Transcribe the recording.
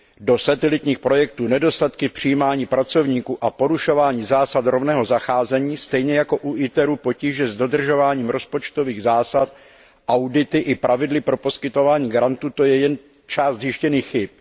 do satelitních projektů, nedostatky v přijímání pracovníků a porušování zásad rovného zacházení, u podniku ITER potíže s dodržováním rozpočtových zásad, audity i pravidly pro poskytování grantů, to je jen část zjištěných chyb.